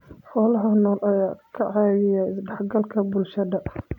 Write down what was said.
Xoolaha nool ayaa ka caawiya isdhexgalka bulshada.